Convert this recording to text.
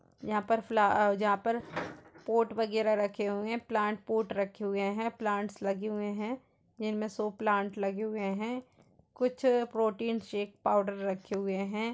यहां पर फ्ला यहां पर पोर्ट वगेरह रखे हैं। प्लांट पोर्ट रखे हुए हैं। प्लांट लगे हुए जिनमे सों प्लांट हैं। कुछ प्रोटिन शेक पाउडर रखे हुए हैं।